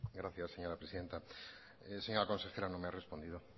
gracias señora presidenta señora consejera no me ha respondido